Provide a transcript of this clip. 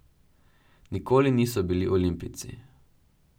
Nikoli niso bili olimpijci.